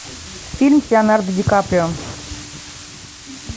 фильм с леонардо ди каприо